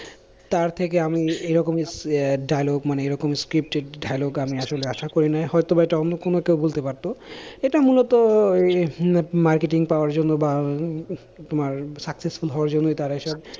তারথেকে আমি এরকমই ah dialogue মানে এরকম scripted dialogue আমি আসলে আশা করি নাই, হয়তো বা এটা অন্য কোনো কেউ বলতে পারতো এটা মূলতই উম marketing পাওয়ার জন্য বা তোমার successful হওয়ার জন্যই তারা এইসব,